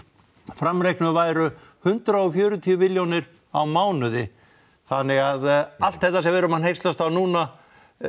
framreiknuð væru hundrað og fjörutíu milljónir á mánuði þannig að allt þetta sem við erum að hneykslast á núna